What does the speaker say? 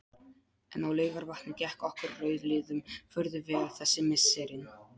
En á Laugarvatni gekk okkur rauðliðum furðu vel þessi misserin.